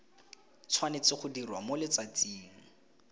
tshwanetse go dirwa mo letsatsing